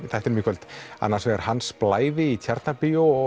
þættinum í kvöld annars vegar Hans Blævi í Tjarnarbíói og